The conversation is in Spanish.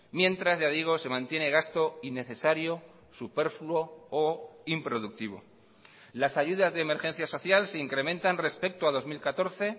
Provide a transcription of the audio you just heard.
mientras ya digo se mantiene gasto innecesario superfluo o improductivo las ayudas de emergencia social se incrementan respecto a dos mil catorce